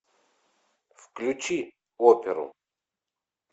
включи оперу